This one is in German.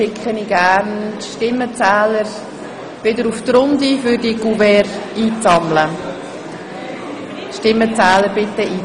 Ich bitte die Stimmenzähler, die entsprechenden Couverts zu verteilen. )